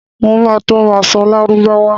Mo ma tó ma ṣọ́ Lárúbáwá